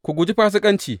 Ku guji fasikanci.